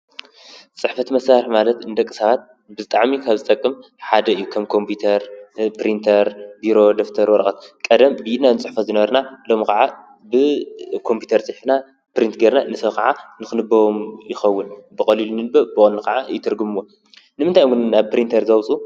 ጽሕፈት መሣርሕ ማለት እንደቕ ሳባት ብዝጣዕሚ ከብ ዝጠቅም ሓደ ኢብ ከም ከምተር ፣ጵሪንተር፣ ቢሮ፣ ደፍተር ፣ወረቐት፣ ቀደም ብድና ንጽሕፈ ዝነበርና ሎም ኸዓ ብከምጵተር ጺሕፍና ጵርንትገርና ንሰዉ ኸዓ ንኽንበዎም ይኸውን ብቐልሉኒን ብ ብወኒ ኸዓ ይትርግምዎን ንምንታይ ውንና ኣብ ጵሪንተር ዘውፁ?